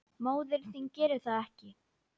Móðir þín gerir það ekki.